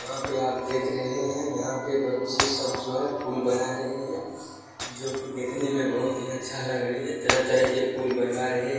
यहाँ पर आप देख रहे हैं यहाँ पर बच्चे सब जो हैं फूल बना रहे हैं जो की देखने में बहुत ही अच्छा लग रही है तरह-तरह के फूल बनवा रहे हैं।